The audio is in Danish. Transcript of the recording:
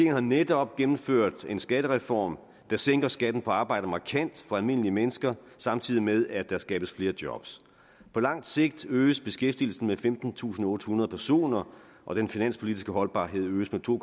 har netop gennemført en skattereform der sænker skatten på arbejde markant for almindelige mennesker samtidig med at der skabes flere job på langt sigt øges beskæftigelsen med femtentusinde og ottehundrede personer og den finanspolitiske holdbarhed øges med to